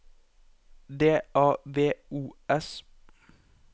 D A V O S